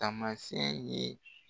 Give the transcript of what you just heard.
Taamasiyɛn ye